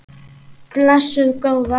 Blessuð góða.